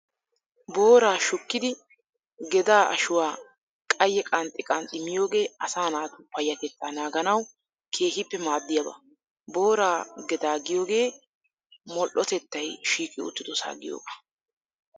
Booraa shukkidi gedaa ashuwaa qayye qanxxi qanxxi miyoogee asaa naatu payyatettaa naaganawu keehippe maaddiyaaba. Booraa gedaa giyoogee modhdhotettay shiiqi uttidosaa giyoogaa.